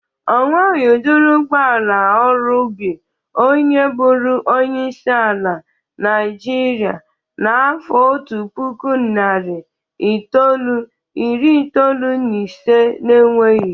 Onweghi udịri ụgbọala ọrụ ubi onye bụrụ onyeisi ala Nịajịrịa n'afọ otu puku, narị itolu, iri itolu na ise na-enweghi.